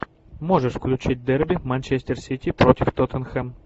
можешь включить дерби манчестер сити против тоттенхэм